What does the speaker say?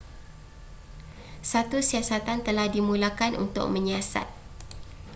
satu siasatan telah dimulakan untuk menyiasat